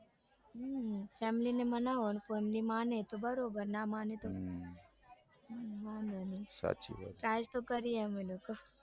હમ family ને માનવાનું family માને તો બરાબર ના માને તો વાંધો નઈ સાચી વાત છે ટ્રે તો કરીયે અમે લોકો